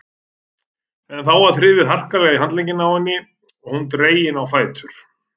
En þá var þrifið harkalega í handlegginn á henni og hún dregin á fætur.